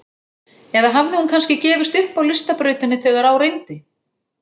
Eða hafði hún kannski gefist upp á listabrautinni þegar á reyndi?